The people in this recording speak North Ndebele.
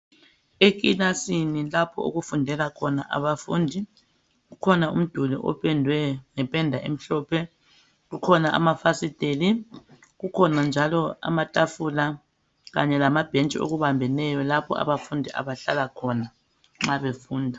Ekilasini lapho okufundela khona abafundi ,kukhona umduli opendwe ngependa emhlophe. Kukhona amafasiteli ,kukhona njalo amathafula kanye lamabhentshi okubambeneyo lapho abafundi abahlala khona nxa befunda.